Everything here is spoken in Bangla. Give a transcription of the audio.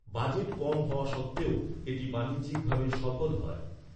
বাজেট কম হওয়া সত্ত্বেও এটি বাণিজ্যিকভাবে সফল হয়।